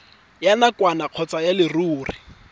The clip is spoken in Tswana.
ya nakwana kgotsa ya leruri